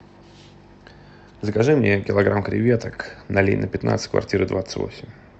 закажи мне килограмм креветок на ленина пятнадцать квартира двадцать восемь